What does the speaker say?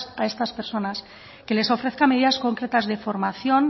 a estas personas que les ofrezca medidas concretas de formación